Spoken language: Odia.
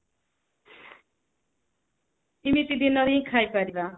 ତିନିଟି ଦିନରେ ହିଁ ଖାଇ ପରିବା